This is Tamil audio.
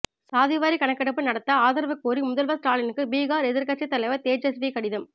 சாதிவாரி கணக்கெடுப்பு நடத்த ஆதரவு கோரி முதல்வர் ஸ்டாலினுக்கு பீகார் எதிர்க்கட்சி தலைவர் தேஜஸ்வி கடிதம்